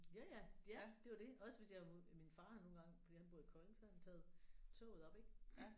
Ja ja. Ja det er jo det også hvis jeg min far har nogle gange fordi han bor i Kolding så har han taget toget op ik